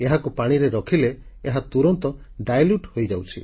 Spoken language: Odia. ଏହାକୁ ପାଣିରେ ରଖିଲେ ଏହା ତୁରନ୍ତ ଦ୍ରବୀଭୂତDilute ହୋଇଯାଉଛି